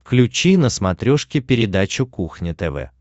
включи на смотрешке передачу кухня тв